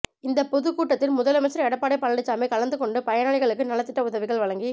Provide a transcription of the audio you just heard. இந்த பொதுக் கூட்டத்தில் முதலமைச்சர் எடப்பாடி பழனிசாமி கலந்துகொண்டு பயனாளிகளுக்கு நலத்திட்ட உதவிகள் வழங்கி